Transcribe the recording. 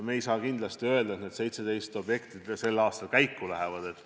Me ei saa kindlasti öelda, et need 17 objekti sellel aastal käiku lähevad.